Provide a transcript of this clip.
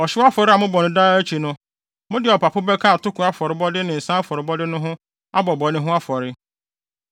Ɔhyew afɔre a mobɔ no daa akyi no, mode ɔpapo bɛka atoko afɔrebɔde ne nsa afɔrebɔde no ho abɔ bɔne ho afɔre.